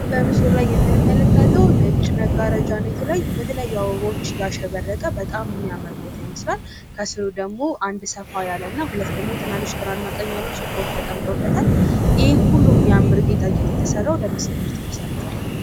በምስሉ ላይ የምንመለከተው ነጭ መጋረጃ እና የተለያዩ በተለያዩ አበባዎች ያሸበረቀ በጣም የሚያምር ቦታ ይመስላል። ከስሩ ደግሞ አንድ ሰፋ ያለ እና ሁለት ደግሞ ትንሽ ግራ እና ቀኝ ያሉ ሶፋዎች ተቀምጠውበታል.።ይህ ሁሉም ሚያምር ጌጣጌጥ ለምን ዝግጅት የተሰራው ይመስላቸኋል?